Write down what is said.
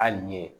Hali n ye